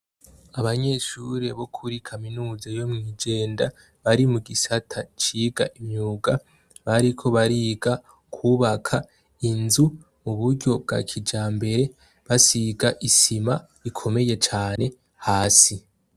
Abanyeshure bo kuri kaminuza yo mw'Ijenda, bari mugisata ciga imyuga, bariko bariga kw'ubaka inzu mu buryo bwa kijambere, basiga isima ikomeye cane hasi.